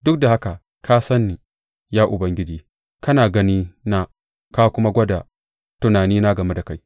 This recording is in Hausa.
Duk da haka ka san ni, ya Ubangiji; kana ganina ka kuma gwada tunanina game da kai.